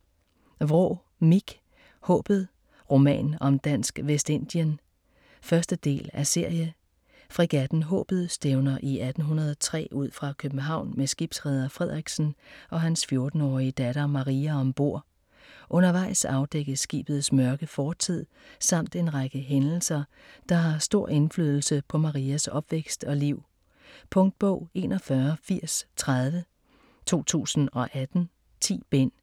Vraa, Mich: Haabet: roman om Dansk Vestindien 1. del af serie. Fregatten Haabet stævner i 1803 ud fra København med skibsreder Frederiksen og hans 14-årige datter Maria om bord. Undervejs afdækkes skibets mørke fortid, samt en række hændelser der har stor indflydelse på Marias opvækst og liv. Punktbog 418030 2018. 10 bind.